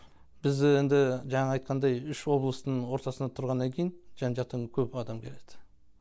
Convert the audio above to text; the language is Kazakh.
біз енді жаңа айтқандай үш облыстың ортасында тұрғаннан кейін жан жақтан көп адам келеді